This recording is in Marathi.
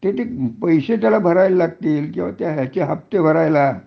त्याच्यात पैसे तरी भरावी लागतील किंवा त्याचे हफ्ते भरायला